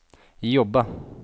jobba